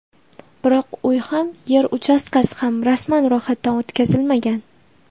Biroq uy ham, yer uchastkasi ham rasman ro‘yxatdan o‘tkazilmagan.